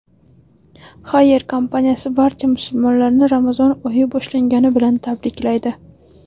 Haier kompaniyasi barcha musulmonlarni Ramazon oyi boshlangani bilan tabriklaydi.